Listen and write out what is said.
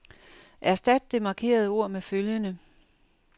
Erstat det markerede ord med følgende.